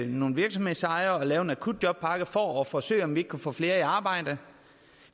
nogle virksomhedsejere at lave en akutjobpakke for at forsøge at se om vi ikke kunne få flere i arbejde